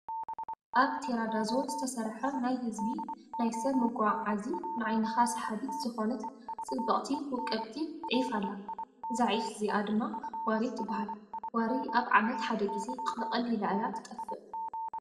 ኣብ ቴራዳዞን ዝተሰርሐ ናይ ህዝቢ (ናይ ሰብ መጉጋጋዚ )ንዓይንካ ሰሓቢት ዝኮነት ፅብቅቲ ፣ውቅብቲ ዒፍ ኣላ፤ እዚ ዒፍ እዚኣ ድማ ዋሪ ትባሃል። ዋሪ ኣብ ዓመት ሓደ ግዜ ቅልቅ ኢላ እያ ትጠፍእ።)